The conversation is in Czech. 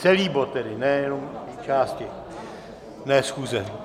Celý bod tedy, nejenom části, ne schůze.